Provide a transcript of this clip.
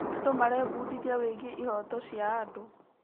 Andũ marebundithia wĩgiĩ ihooto cia andũ.